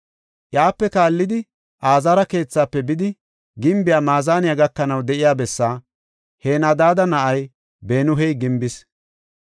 Iyape kaallidi Azaara keethaafe bidi, gimbiya maazaniya gakanaw de7iya bessaa Henadaada na7ay Benuyi gimbis.